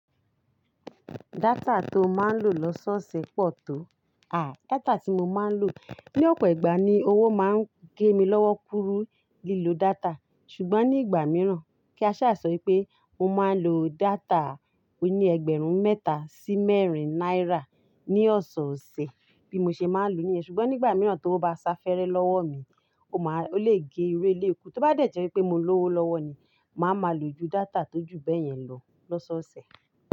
Data tó máa ń lò lọ́sọ̀ọ̀sẹ̀ pọ̀ tó. À, data tí mo máa ń lò, ní ọ̀pọ̀ ìgbà ni owó máa ń gé mi lọ́wọ́ kúrú lílo data. Ṣùgbọ́n ní ìgbà mìíràn, kí a ṣà sọ wipé mo máa ń lo data oní ẹgbẹ̀rún mẹ́ta sí mẹ́rin náírà ní ọ̀sọ̀ọ̀sẹ̀ bí mo ṣe máa ń lò ó níyẹn. Ṣùgbọ́n nígbà mìíràn tówó bá sá fẹ́rẹ́ lọ́wọ́ mi, ó máa, ó lè gé irú eléyìí kú, tó bá dẹ̀ jẹ́ wípé mo ní owó lọ́wọ́ ni, màá máa lo ju data tó ju bẹ́yẹn lọ lọ́sọ̀ọ̀sẹ̀.